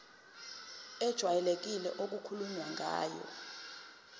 ejwayelekile okukhulunywe ngayo